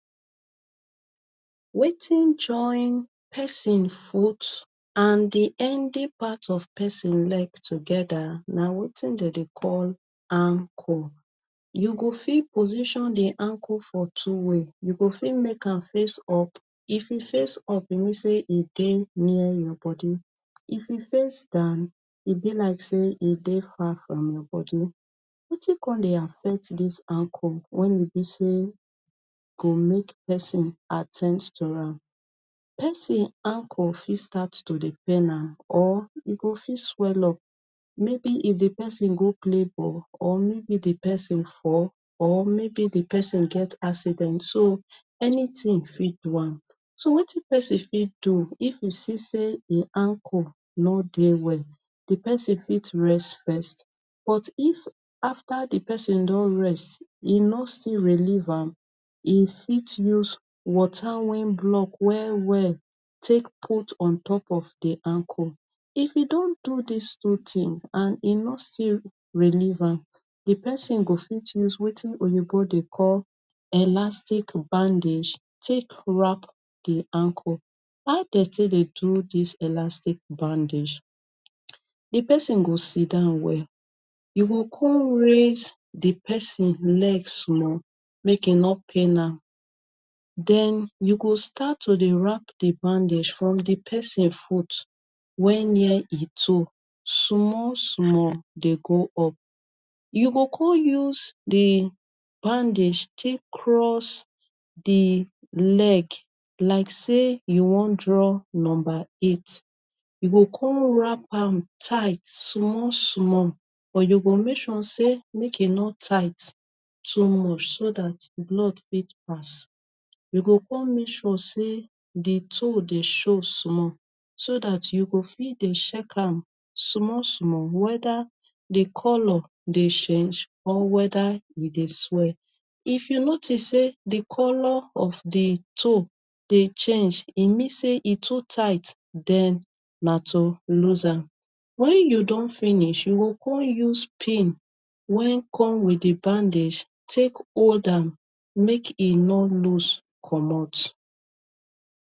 Wetin join pesin foots and di ending part of pesin leg togeda na wetin dem dey call ankle. You go fit position di ankle for two way. You fit make am face up. If e face up, e mean say e dey near your body. If you face am down, e be like say e dey far from your body. Wetin come dey affect dis ankle wey e bi say go make pesin attempts to am, pesin ankle fit start to dey pain am or e go fit swell up. Maybe if di pesin go play ball or maybe di pesin fall or maybe di pesin get accident. So anytin fit do am. So wetin pesin fit do if you see say e ankle no dey well? Di pesin fit rest first. But if after di pesin don rest e no still relieve am, e fit use water wey don block well well take put on top of di ankle. If you don do dis two tin and e no still relieve, di pesin go fit use wetin Oyinbo dey call elastic bandage take wrap di ankle. How dem take dey do dis elastic bandage? Di pesin go sidon well. You go come raise di pesin leg small make e no pain am. Den you go start to dey wrap di bandage from di pesin foot wey near e toe. Small small dem go up. You go come use di bandage take cross di leg like say you wan draw number eight. You go come wrap am tight small small but you go make sure say e no too tight so that blood go pass. You go come make di toe dey show small so that you fit dey check am small small, weda di colour dey change or weda e dey swell. If you notice say di colour of di toe dey change, e mean say e too tight. Den na to loose am. Wen you don finish, you go come use pin wey come wit di bandage take hold am make e no loose comot.